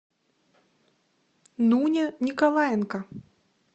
нуня николаенко